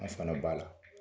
An fana b'a la.